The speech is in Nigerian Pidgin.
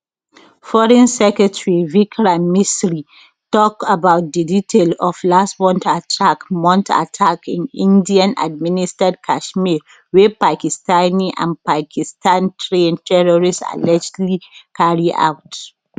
foreign secretary vikram misri tok about di detail of last month attack month attack in indian administered kashmir wey pakistani and pakistan trained terrorists allegedly carry out